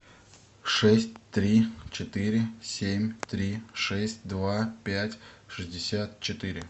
шесть три четыре семь три шесть два пять шестьдесят четыре